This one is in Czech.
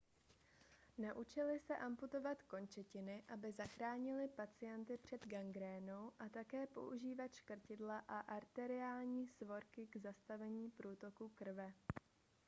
naučili se amputovat končetiny aby zachránili pacienty před gangrénou a také používat škrtidla a arteriální svorky k zastavení průtoku krve